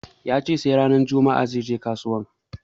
Yace sai ranar juma'a zai je kasuwan